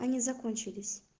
они закончились